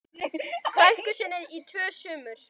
frænku sinni í tvö sumur.